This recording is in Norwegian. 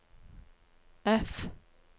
F